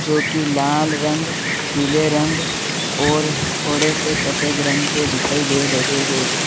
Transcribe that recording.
जो कि लाल रंग पीले रंग और थोड़े से सफेद रंग के दिखाई दे रहे हैं।